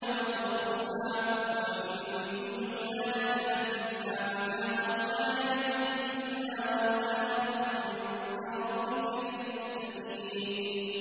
وَزُخْرُفًا ۚ وَإِن كُلُّ ذَٰلِكَ لَمَّا مَتَاعُ الْحَيَاةِ الدُّنْيَا ۚ وَالْآخِرَةُ عِندَ رَبِّكَ لِلْمُتَّقِينَ